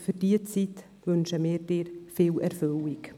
Für diese Zeit wünschen wir Ihnen viel Erfüllung.